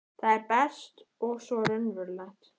Það er best og svo raunverulegt.